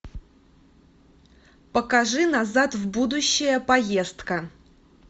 покажи назад в будущее поездка